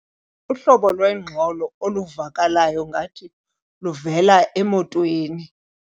Uhlobo lwengxolo oluvakalayo ngathi luvela emotweni.